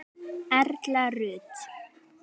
Erla Rut.